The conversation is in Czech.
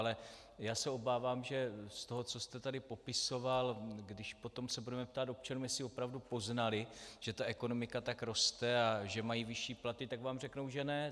Ale já se obávám, že z toho, co jste tady popisoval, když se potom budeme ptát občanů, jestli opravdu poznali, že ta ekonomika tak roste a že mají vyšší platy, tak vám řeknou, že ne.